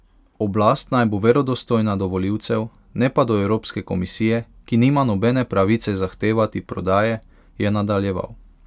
Oblast naj bo verodostojna do volivcev, ne pa do Evropske komisije, ki nima nobene pravice zahtevati prodaje, je nadaljeval.